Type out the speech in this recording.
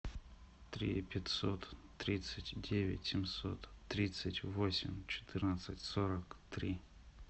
три пятьсот тридцать девять семьсот тридцать восемь четырнадцать сорок три